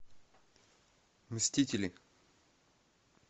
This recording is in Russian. мстители